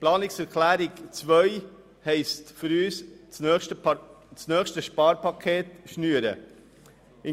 Die Planungserklärung 2 bedeutet für uns, dass das nächste Sparpaket geschnürt werden muss.